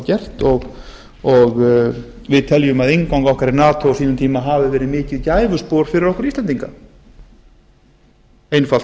gert og við teljum að innganga okkar í nato á sínum tíma hafi verið mikið gæfuspor fyrir okkur íslendinga einfalt